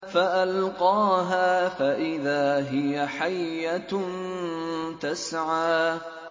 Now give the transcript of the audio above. فَأَلْقَاهَا فَإِذَا هِيَ حَيَّةٌ تَسْعَىٰ